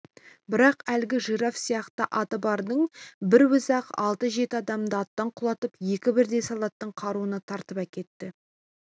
бірақ әлгі жираф сияқты аты бардың бір өзі-ақ алты-жеті адамды аттан құлатып екі бірдей солдаттың қаруын тартып әкетті